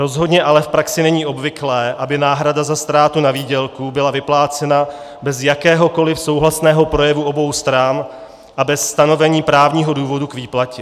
Rozhodně ale v praxi není obvyklé, aby náhrada za ztrátu na výdělku byla vyplácena bez jakéhokoliv souhlasného projevu obou stran a bez stanovení právního důvodu k výplatě.